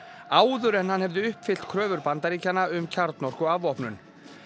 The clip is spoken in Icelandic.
áður en hann hefði uppfyllt kröfur Bandaríkjanna um kjarnorkuafvopnun